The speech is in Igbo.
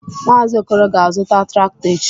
Mazị Okoro ga-azụta traktọ echi.